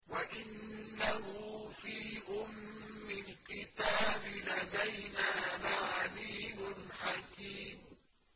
وَإِنَّهُ فِي أُمِّ الْكِتَابِ لَدَيْنَا لَعَلِيٌّ حَكِيمٌ